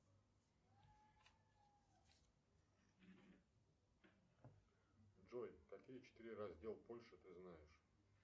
джой какие четыре раздел польши ты знаешь